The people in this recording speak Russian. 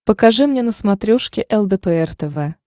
покажи мне на смотрешке лдпр тв